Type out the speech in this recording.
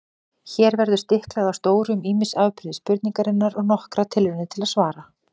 Hér verður stiklað á stóru um ýmis afbrigði spurningarinnar og nokkrar tilraunir til svara.